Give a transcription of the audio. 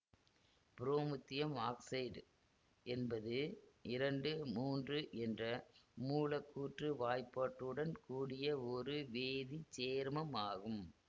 promethium oxide என்பது இரண்டு மூன்று என்ற மூலக்கூற்று வாய்ப்பாடுடன் கூடிய ஒரு வேதி சேர்மம் ஆகும்